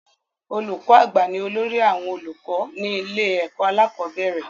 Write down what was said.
Olùkọ́ àgbà ni olórí àwọn olùkọ́ ní ilé ẹ̀kọ́ alákọ̀bẹ́rẹ̀